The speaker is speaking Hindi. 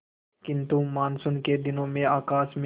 किंतु मानसून के दिनों में आकाश में